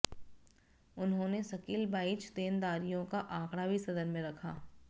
उन्होंने सकिलबाइज देनदारियों का आंकड़ा भी सदन में रखा